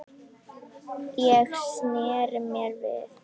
Ég sneri mér við.